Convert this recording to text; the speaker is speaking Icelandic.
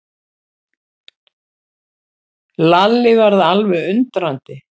Lalli varð alveg undrandi.